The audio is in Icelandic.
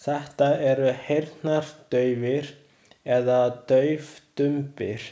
Þetta eru heyrnardaufir eða daufdumbir.